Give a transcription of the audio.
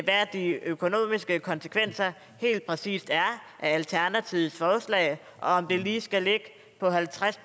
hvad de økonomiske konsekvenser helt præcist er af alternativets forslag om det lige skal ligge på halvtreds